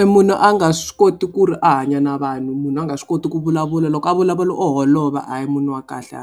I munhu a nga swi koti ku ri a hanya na vanhu munhu a nga swi koti ku vulavula loko a vulavula o holova a hi munhu wa kahle